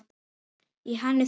Í henni þurfa að vera